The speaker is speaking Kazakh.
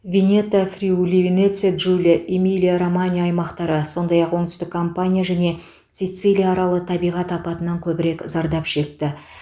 венето фриули венеция джулия эмилия романья аймақтары сондай ақ оңтүстік кампания және сицилия аралы табиғат апатынан көбірек зардап шекті